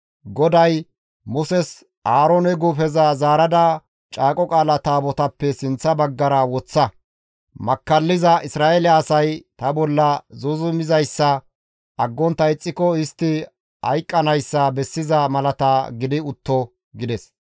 GODAY Muses, «Aaroone guufeza zaarada Caaqo Qaala Taabotaappe sinththa baggara woththa; makkalliza Isra7eele asay ta bolla zuuzumizayssa aggontta ixxiko istti hayqqanayssa bessiza malata gidi utto» gides.